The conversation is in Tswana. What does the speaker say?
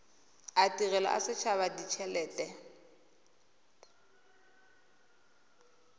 a tirelo a setshaba ditshelete